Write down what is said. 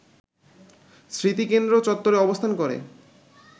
স্মৃতিকেন্দ্র চত্বরে অবস্থান করে